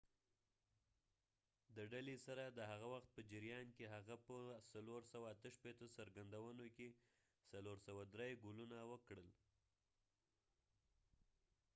د ډلې سره د هغه وخت په جریان کې، هغه په ۴۶۸ څرګندونو کې ۴۰۳ ګولونه وکړل